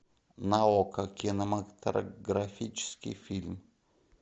на окко кинематографический фильм